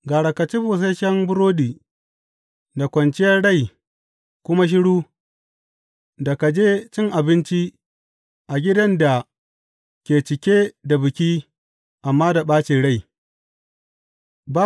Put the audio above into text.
Gara ka ci busasshen burodi da kwanciyar rai kuma shiru da ka je cin abinci a gidan da ke cike da biki amma da ɓacin rai.